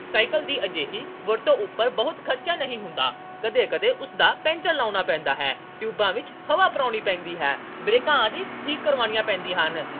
cycle ਦੀ ਅਜਿਹੀ ਵਰਤੋਂ ਉਪਰ ਬਹੁਤ ਖਰਚਾ ਨਹੀਂ ਹੁੰਦਾ। ਕਦੇ-ਕਦੇ ਉਸਦਾ ਪੈਂਚਰ ਲਗਾਉਣਾ ਪੈਂਦਾ ਹੈ। ਟਿਊਬਾਂ ਵਿੱਚ ਹਵਾ ਭਰਾਉਣੀ ਪੈਂਦੀ ਹੈ। ਬ੍ਰੇਕਾਂ ਆਦਿ ਠੀਕ ਕਰਾਉਣੀਆਂ ਪੈਂਦੀਆਂ ਹਨ